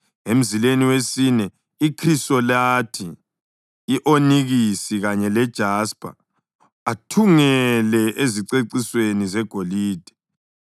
emzileni wesine ikhrisolathi, i-onikisi kanye lejaspa. Athungele ezicecisweni zegolide.